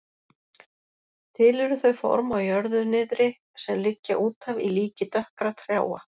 Til eru þau form á jörðu niðri sem liggja útaf í líki dökkra trjáa.